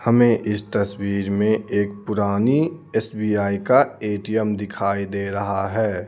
हमें इस तस्वीर में एक पुरानी एस_बी_आई का ए_टी_एम दिखाई दे रहा है.